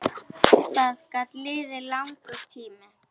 Það gat liðið langur tími.